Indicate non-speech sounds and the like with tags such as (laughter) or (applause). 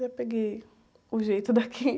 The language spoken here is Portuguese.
Já peguei o jeito daqui. (laughs)